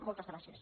moltes gràcies